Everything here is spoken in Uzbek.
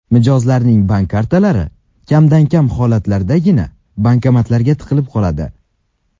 Mijozning bank kartalari kamdan-kam hollardagina bankomatga tiqilib qoladi.